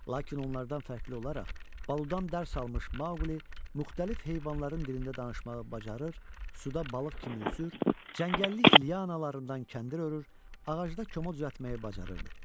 Lakin onlardan fərqli olaraq, Baludan dərs almış Maqli müxtəlif heyvanların dilində danışmağı bacarır, suda balıq kimi üzür, cəngəllik lianalarından kəndir örür, ağacda kəmə düzəltməyi bacarırdı.